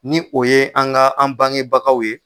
Ni o ye an ka an bangebagaw ye.